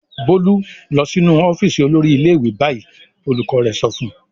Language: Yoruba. "Bólú lọ sínú ọ́fíísì olórí ilé-ìwé báyìí!" Olùkọ́ rẹ̀ sọ fún un.